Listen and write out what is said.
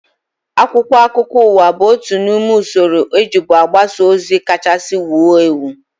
Akwụkwọ akụkọ ụwa bụ otu n'ime usoro ejibu agbasa ozi kachasị wuo ewu